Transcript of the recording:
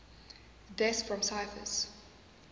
deaths from typhus